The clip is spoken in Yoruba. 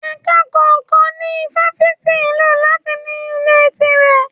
Ẹ̀ka kọ̀ọ̀kan ní Ifáfìti ló máa ń ní ilé tire.